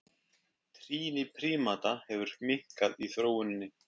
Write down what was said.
Trýni prímata hefur minnkað í þróuninni.